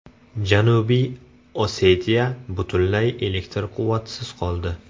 Janubiy Osetiya butunlay elektr quvvatisiz qoldi.